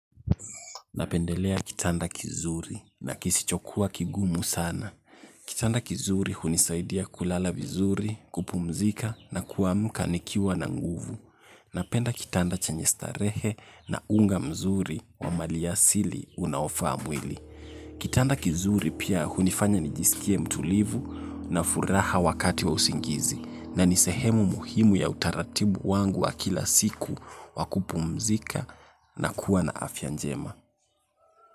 Napendelea kitanda kizuri na kisichokuwa kigumu sana. Kitanda kizuri hunisaidia kulala vizuri, kupumzika na kuamka nikiwa na nguvu. Napenda kitanda chenye starehe na unga mzuri wa maliasili unaofa mwili. Kitanda kizuri pia hunifanya nijisikie mtulivu na furaha wakati wa usingizi na nisehemu muhimu ya utaratibu wangu wa kila siku wakupumzika na kuwa na afya njema.